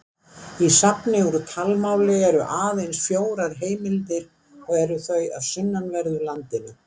Í safni úr talmáli eru aðeins fjórar heimildir og eru þau af sunnanverðu landinu.